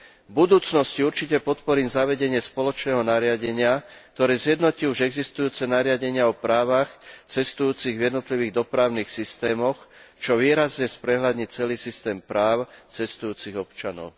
V budúcnosti určite podporím zavedenie spoločného nariadenia, ktoré zjednotí už existujúce nariadenia o právach cestujúcich v jednotlivých dopravných systémoch, čo výrazne sprehľadní celý systém práv cestujúcich občanov.